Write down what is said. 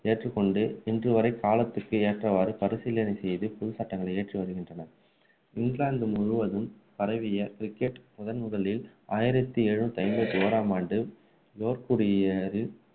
ஏற்றுக்கொண்டு இன்றுவரை காலத்திற்கு ஏற்றவாறு பரிசீலனை செய்து புது சட்டங்களை ஏற்றி வருகின்றன இங்கிலாந்து முழுவதும் பரவிய cricket முதன்முதலில் ஆயிரத்து எழுநூற்று ஐம்பத்து ஒன்றாம் ஆண்டு யோர்க்ஷயரில்